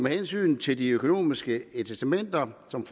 hensyn til de økonomiske incitamenter som